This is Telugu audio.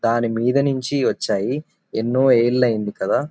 దాని మీద నుంచి వచ్చాయి ఎన్నో ఏళ్ళు అయింది కదా.